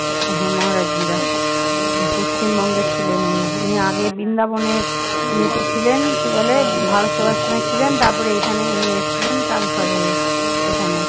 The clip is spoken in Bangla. ইয়ে তে ছিলেন কি বলে ভারত সেবাশ্রমে ছিলেন তারপরে তারপরে এখানে উনি এসেছিলেন transfer হয়ে এখানে